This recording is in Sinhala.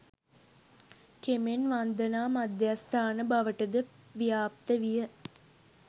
කෙමෙන් වන්දනා මධ්‍යස්ථාන බවට ද ව්‍යාප්ත විය.